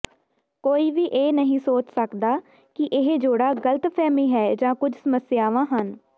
ਕੋਈ ਵੀ ਇਹ ਨਹੀਂ ਸੋਚ ਸਕਦਾ ਕਿ ਇਹ ਜੋੜਾ ਗ਼ਲਤਫ਼ਹਿਮੀ ਹੈ ਜਾਂ ਕੁਝ ਸਮੱਸਿਆਵਾਂ ਹਨ